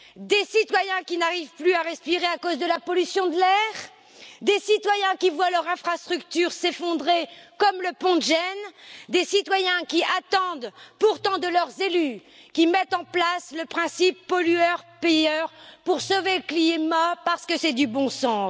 Des citoyens qui n'arrivent plus à respirer à cause de la pollution de l'air, des citoyens qui voient leurs infrastructures s'effondrer, comme le pont de Gênes, des citoyens qui attendent pourtant de leurs élus qu'ils mettent en place le principe du pollueur payeur pour sauver le climat, parce que c'est du bon sens.